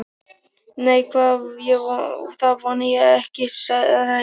Nei, það vona ég ekki, svaraði Lárus.